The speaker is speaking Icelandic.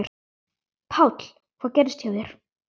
Páll: Hvað gerðist hjá þér?